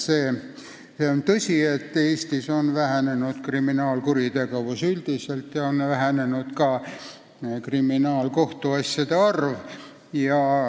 See on tõsi, et Eestis on kuritegevus üldiselt vähenenud ja on vähenenud ka kriminaalkohtuasjade arv.